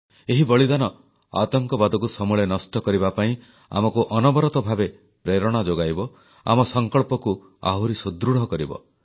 ଏହି ବଳିଦାନ ଆତଙ୍କବାଦକୁ ସମୂଳେ ନଷ୍ଟ କରିବା ପାଇଁ ଆମକୁ ଅନବରତ ଭାବେ ପ୍ରେରଣା ଯୋଗାଇବ ଆମ ସଂକଳ୍ପକୁ ଆହୁରି ସୁଦୃଢ଼ କରିବ